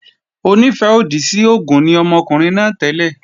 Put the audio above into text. Onífẹ́-òdì sí oògùn ni ọmọkùnrin náà tẹ́lẹ̀